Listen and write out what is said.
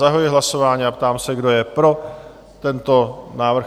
Zahajuji hlasování a ptám se, kdo je pro tento návrh?